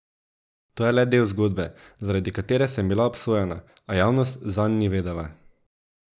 To je le del zgodbe, zaradi katere sem bila obsojena, a javnost zanj ni vedela.